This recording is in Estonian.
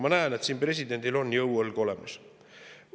Ma näen, et siin on presidendil jõuõlg olemas.